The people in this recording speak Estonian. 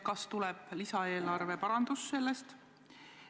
Kas sellest tuleb lisaeelarve parandus?